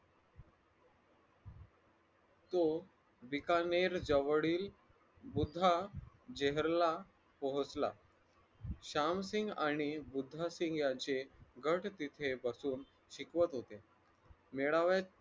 तो बिकानेर जवळील बुद्ध जेहराला पोहोचला श्यामसिंग आणि बुधासिंग याचे गढ तिथे बसून ऐकवत होते मेळाव्याचे